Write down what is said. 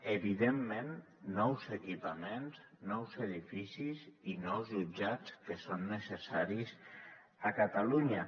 evidentment nous equipaments nous edificis i nous jutjats que són necessaris a catalunya